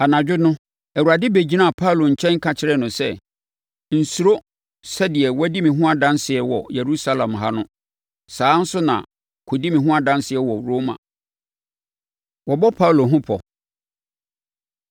Anadwo no, Awurade bɛgyinaa Paulo nkyɛn ka kyerɛɛ no sɛ, “Nsuro! Sɛdeɛ woadi me ho adanseɛ wɔ Yerusalem ha no, saa ara nso na kɔdi me ho adanseɛ wɔ Roma.” Wɔbɔ Paulo Ho Pɔ